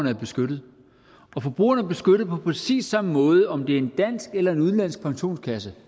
er beskyttet og forbrugerne er beskyttet på præcis samme måde uanset om det er en dansk eller en udenlandsk pensionskasse